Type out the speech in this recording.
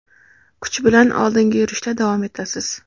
kuch bilan oldinga yurishda davom etasiz.